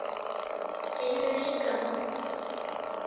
Tinnu líka.